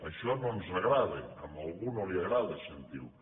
això no ens agrada a algú no li agrada sentir ho